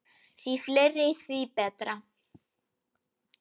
Því fleiri, því betra.